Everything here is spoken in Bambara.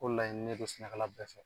O laɲini ne don sɛnɛkɛla bɛɛ fɛ